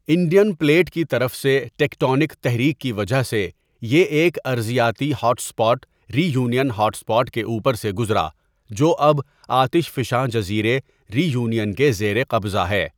Indian plate کی طرف سے ٹیکٹونک تحریک کی وجہ سے یہ ایک ارضیاتی hot spot Reunion hot spot کے اوپر سے گزرا جو اب آتش فشاں جزیرے ری یونین کے زیر قبضہ ہے.